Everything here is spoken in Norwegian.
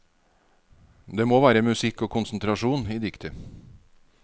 Det må være musikk og konsentrasjon i diktet.